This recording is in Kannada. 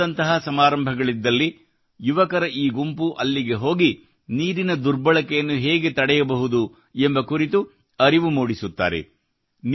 ವಿವಾಹದಂತಹ ಸಮಾರಂಭಗಳಿದ್ದಲ್ಲಿ ಯುವಕರ ಈ ಗುಂಪು ಅಲ್ಲಿಗೆ ಹೋಗಿ ನೀರಿನ ದುರ್ಬಳಕೆಯನ್ನು ಹೇಗೆ ತಡೆಯಬಹುದು ಎಂಬ ಕುರಿತು ಅರಿವು ಮೂಡಿಸುತ್ತಾರೆ